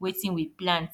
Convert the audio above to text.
wetin we plant